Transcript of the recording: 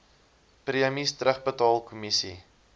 premies terugbetaal kommissie